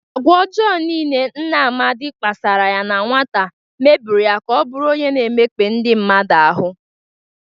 Agwa ọjọọ niile nna Amadị kpasara ya na nwata meburu ya ka ọ bụrụ onye na-emekpa ndị mmadụ ahụ.